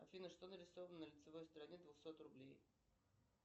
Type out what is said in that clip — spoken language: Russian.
афина что нарисовано на лицевой стороне двухсот рублей